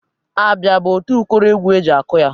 Abịa bụ otu ụkọrọ egwu e ji akụ ya.